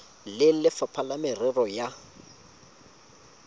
le lefapha la merero ya